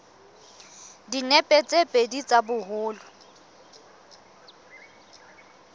dinepe tse pedi tsa boholo